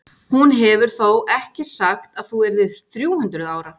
Hún hefur þó ekki sagt að þú yrðir þrjú hundruð ára?